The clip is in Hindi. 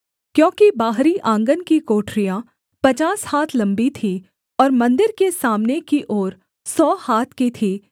क्योंकि बाहरी आँगन की कोठरियाँ पचास हाथ लम्बी थीं और मन्दिर के सामने की ओर सौ हाथ की थी